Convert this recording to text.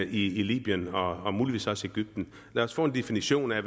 i libyen og og muligvis også i egypten lad os få en definition af